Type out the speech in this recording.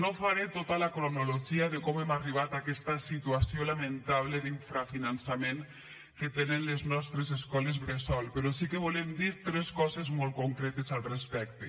no faré tota la cronologia de com hem arribat a aquesta situació lamentable d’infrafinançament que tenen les nostres escoles bressol però sí que volem dir tres coses molt concretes al respecte